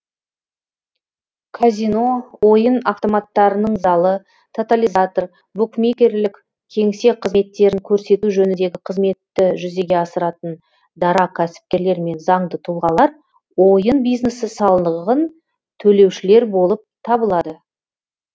казино ойын автоматтарының залы тотализатор букмекерлік кеңсе қызметтерін көрсету жөніндегі қызметті жүзеге асыратын дара кәсіпкерлер мен заңды тұлғалар ойын бизнесі салығын төлеушілер болып табылады